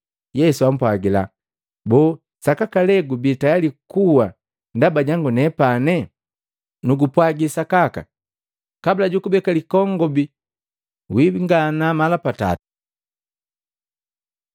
Yesu ampwagila, “Boo, sakaka lee gubi tayali kuwa ndaba jangu nepane? Nugupwagi sakaka, kabula jukubeka likongobi wiingana mala patatu!”